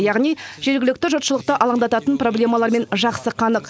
яғни жергілікті жұртшылықты алаңдататын проблемалармен жақсы қанық